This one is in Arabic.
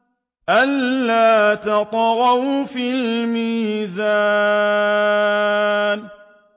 أَلَّا تَطْغَوْا فِي الْمِيزَانِ